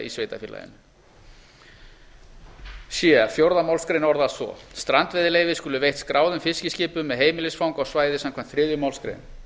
sveitarfélaginu c fjórðu málsgrein orðast svo strandveiðileyfi skulu veitt skráðum fiskiskipum með heimilisfang á svæði samkvæmt þriðju málsgrein